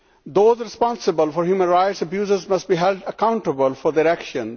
Those responsible for human rights abuses must be held accountable for their actions.